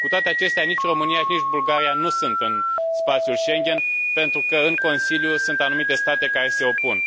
Cu toate acestea, nici România, nici Bulgaria nu sunt în spațiul Schengen, pentru că în Consiliu sunt anumite state care se opun.